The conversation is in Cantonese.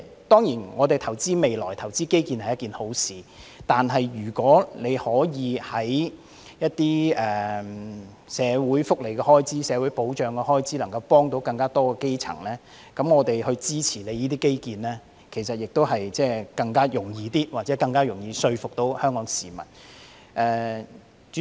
當然，投資未來和基建是一件好事，但如果政府給社會福利開支或社會保障開支撥款，以幫助更多基層市民，我們會更容易支持政府進行這些基建工程，或者更容易說服香港市民。